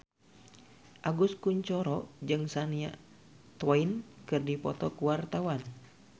Agus Kuncoro jeung Shania Twain keur dipoto ku wartawan